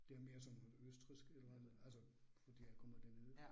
Det er mere sådan noget østrigsk et eller andet altså fordi jeg kommer dernede